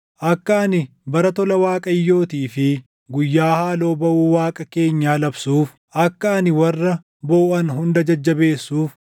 akka ani bara tola Waaqayyootii fi guyyaa haaloo baʼuu Waaqa keenyaa labsuuf, akka ani warra booʼan hunda jajjabeessuuf,